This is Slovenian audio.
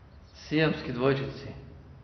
Siamski dvojčici.